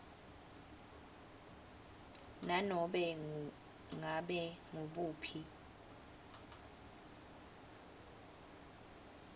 nanobe ngabe ngubuphi